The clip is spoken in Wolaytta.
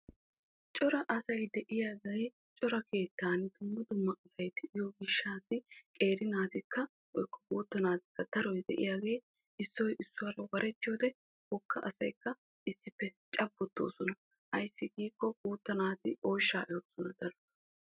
Cora asay de'iyaage issi keettan qeeri naatikka guutta naatikka issoy issuwara warettiyodde wogga asay cabbotosonna.